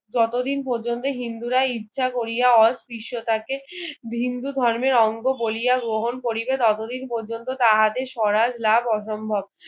যতদিন পর্যন্তু হিন্দুরা ইচ্ছা কোরিয়া অস্পৃশ্যতা কেহিন্দু ধর্মের অঙ্গ বলিয়া গ্রহণ করিবে ততদিন পর্যন্তু তাহাদের সরার লাভ অসম্ভব